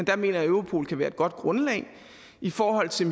jeg mener europol kan være et godt grundlag og i forhold til